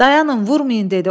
Dayanın, vurmayın dedi.